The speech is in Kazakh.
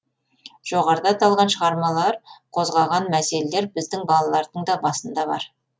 жоғарыда аталған шығармалар қозғаған мәселелер біздің балалардың да басында бар